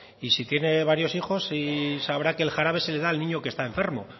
y si tiene varios hijos sabrá que el jarabe se le da al niño que está enfermo